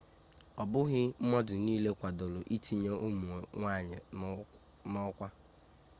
ọbụghị mmadụ niile kwadoro ntinye ụmụ nwanyị n'ọkwa